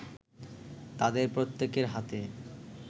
তাদের প্রত্যেকের হাতে